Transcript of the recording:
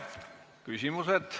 Küsimused.